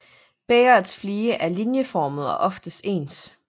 Bægerets flige er linjeformede og oftest ens